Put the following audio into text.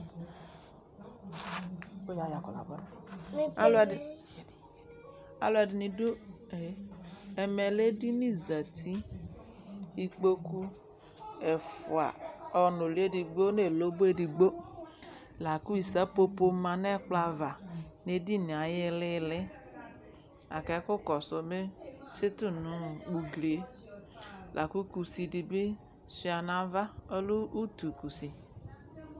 Alʋɛdɩ, alʋɛdɩnɩ dʋ e Ɛmɛ lɛ edini zati Ikpoku ɛfʋa ɔnʋlɩ edigbo nʋ elobo edigbo la kʋ isǝpopo ma nʋ ɛkplɔ ava nʋ edini yɛ ayʋ ɩɩlɩ-ɩɩlɩ la kʋ ɛkʋkɔsʋ bɩ tsɩtʋ nʋ ugli yɛ la kʋ kusi dɩ bɩ sʋɩa nʋ ava Ɔlɛ utukusi